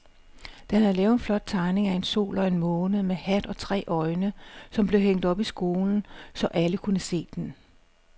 Dan havde lavet en flot tegning af en sol og en måne med hat og tre øjne, som blev hængt op i skolen, så alle kunne se den.